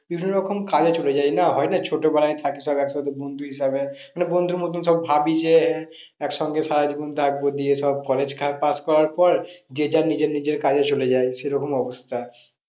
বিভিন্ন রকম কাজে চলে যায় না হয় না ছোটোবেলায় থাকি সব এক সাথে বন্ধু হিসাবে মানে বন্ধুর মতো সব ভাবই যে এক সঙ্গে সারা জীবন থাকবো দিয়ে সব college pass করার পর যে যার নিজের নিজের কাজে চলে যায়। সে রকম অবস্থা